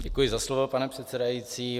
Děkuji za slovo, pane předsedající.